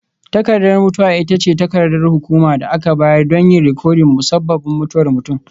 Takardar mutuwa ita ce takardar hukuma da aka bayar don yin rikodin musabbabin mutuwar mutum.